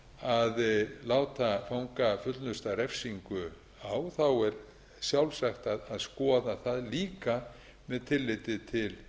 að láta fanga fullnusta refsingu á þá er sjálfsagt að skoða það líka með tilliti til